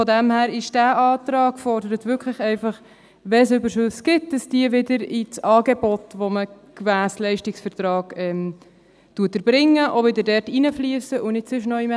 Daher fordert dieser Antrag wirklich einfach, dass allfällige Überschüsse zurück ins Angebot, das man gemäss Leistungsvertrag erbringt, fliessen, und nicht woanders hin.